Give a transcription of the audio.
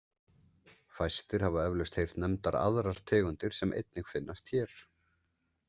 Fæstir hafa eflaust heyrt nefndar aðrar tegundir sem einnig finnast hér.